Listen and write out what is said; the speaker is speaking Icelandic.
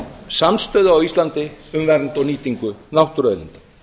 samstöðu á íslandi um vernd og nýtingu náttúruauðlinda